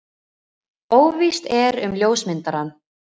Óvíst er um ljósmyndarann.